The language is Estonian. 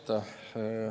Aitäh!